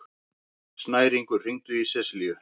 Snæringur, hringdu í Seselíu.